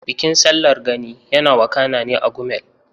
Bikin Sallar Gani yana wakana ne a Gumel.